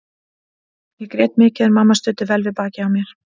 Ég grét mikið en mamma studdi vel við bakið á mér.